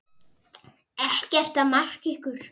Ekkert er að marka ykkur.